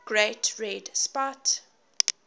great red spot